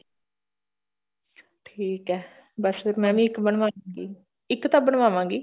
ਠੀਕ ਐ ਬੱਸ ਫਿਰ ਮੈਂ ਵੀ ਇੱਕ ਬੰਵਾਉਂਗੀ ਇੱਕ ਤਾਂ ਬਨਵਾਵਾਂਗੀ